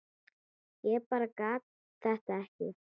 Ég bara gat þetta ekki.